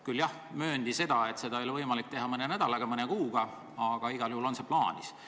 Küll, jah, mööndi, et seda ei ole võimalik teha mõne nädalaga, mõne kuuga, aga igal juhul on see plaanis.